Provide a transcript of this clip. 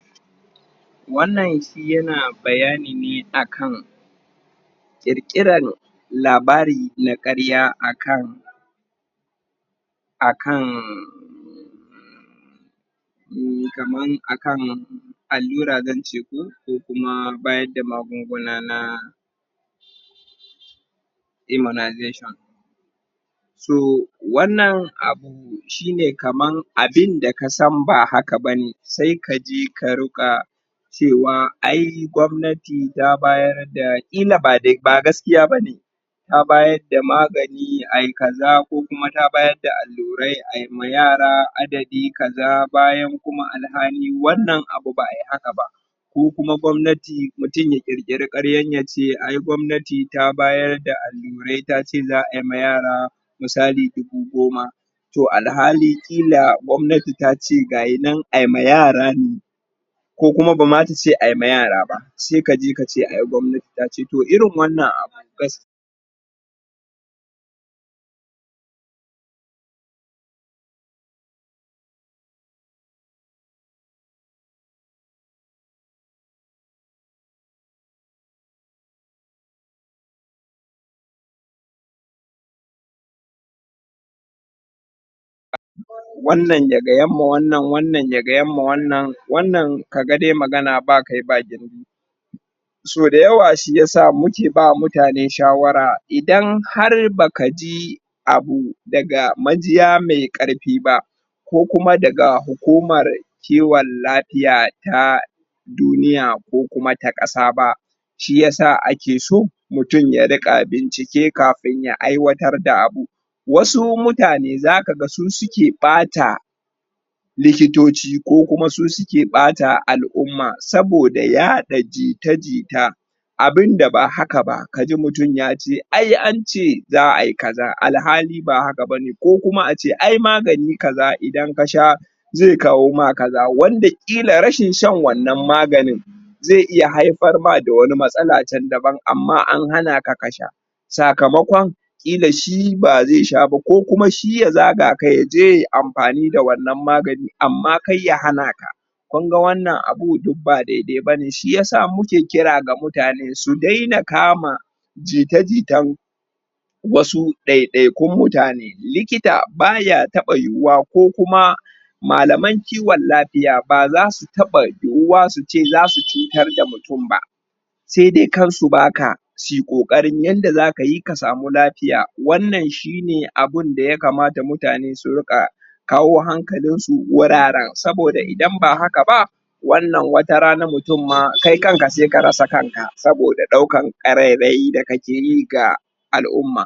wannan shi ya na bayani ne akan kirkiran labari na karya akan akan eh kaman akan alura zan ce ko kuma bayar da magunguna na immunization so wannan abu shi ne kamanabin da ka san ba haka bane sai ka je ka rika cewa ai gamnati ta bayar da kila ba gaskiya bane ta bayar da magani a yi kaza ko kuma ta bayar da alurai ayi ma yara adadi kaza bayan kuma alhali wannan abu ba'a yi haka ba ko kuma gomnati mutumya kirkira karya ya ce ai gomnati ta bayar da alurai ta ce za'a ba mayara misali dubu goma toh alhali kila gomnati ta ce ga inan a yi ma yaran ko kuma ba ma ta ce ayi ma yara ba sai kaje kace ai gomnati ta ce toh irin wannan abu gas.. wannan ya gaya ma wannan wannan ma wannan wannan ka ga de magana ba kai ba gindi so dayawa shi ya sa muke ba mutane shawara idan har ba ka ji abu daga magija mai karfi ba ko kuma daga hukumar kewan lafiya ta duniya ko kuma ta kasa ba shi yasa ake so mutumya ringa bincike kafin ya aiwatar da abu wasu mutane za kaga su suke bata likitociku kuma su suke bata al'uma soboda ya da jita jita abunda ba haka ba ka ji mutum yace ai an ce za'a yi kaza alhali ba haka bane ko kuma aceai magani kaza idan ka sha zai kawo makaza wande kila rashin shan wannan maganin zai iya haifar ma da wani matsala can daban amma an hana ka ka sha sakamakon kila shi bazai sha ba ko kuma ya zaga kai ya je ya amfani da wannan maganin amma kar ya hana ka kun ga wannanabun duk ba daidai bane shi yasa muke kira ga mutane su daina kama jita jitan wasu daya dayakun mutane likita ba ya taba yu wa ko kuma malaman kiwon lafiya bazasu taba yuwa su ce za su cutar da mutum ba sai dai kan su ba ka su yi kokari yanda za su yi su baka lafiya wannan shi ne abun da ya kamata mutane su ringa kawo hankalin su wuraren soboda idan ba haka ba wannan watarana mutum ma kai kan ka sai ka rasa kan ka soboda daukan karerai da kake yi ga al'uma